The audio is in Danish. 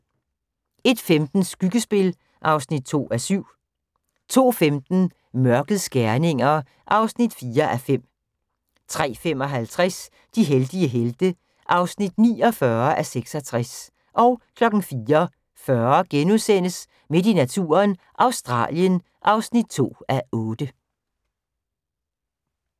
01:15: Skyggespil (2:7) 02:15: Mørkets gerninger (4:5) 03:55: De heldige helte (49:66) 04:40: Midt i naturen – Australien (2:8)*